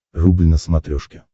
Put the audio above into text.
рубль на смотрешке